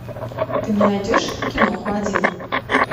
ты мне найдешь киноху один